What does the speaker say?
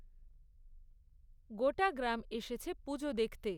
গোটা গ্রাম এসেছে পুজো দেখতে।